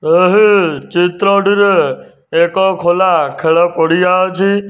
ଏହି ଚିତ୍ରଟିରେ ଏକ ଖୋଲା ଖେଳ ପଡ଼ିଆ ଅଛି।